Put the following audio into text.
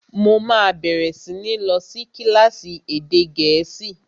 Mo máa bẹ̀rẹ̀ sí ní lọ sí kílásì èdè gẹ̀ẹ́sì